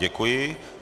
Děkuji.